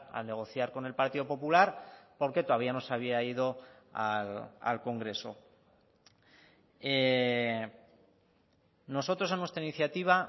al negociar con el partido popular porque todavía no se había ido al congreso nosotros en nuestra iniciativa